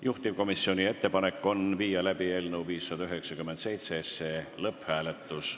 Juhtivkomisjoni ettepanek on viia läbi eelnõu 597 lõpphääletus.